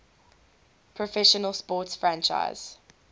professional sports franchise